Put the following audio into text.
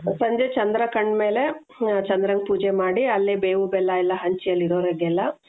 ಸಂಜೆ ಚಂದ್ರ ಕಂಡ್ಮೇಲೆ ಚಂದ್ರನ ಪೂಜೆ ಮಾಡಿ ಅಲ್ಲೇ ಬೇವು ಬೆಲ್ಲ ಎಲ್ಲಾ ಹಂಚಿ ಅಲ್ಲಿ ಇರೋರಿಗೆಲ್ಲಾ.